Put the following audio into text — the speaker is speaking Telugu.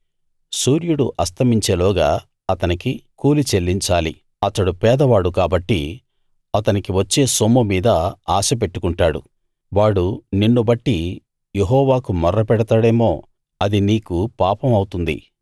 సూర్యుడు అస్తమించేలోగా అతనికి కూలి చెల్లించాలి అతడు పేదవాడు కాబట్టి అతనికి వచ్చే సొమ్ము మీద ఆశ పెట్టుకుంటాడు వాడు నిన్ను బట్టి యెహోవాకు మొర్ర పెడతాడేమో అది నీకు పాపమవుతుంది